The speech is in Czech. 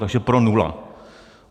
Takže pro nula.